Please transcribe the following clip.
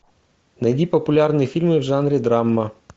найди популярные фильмы в жанре драма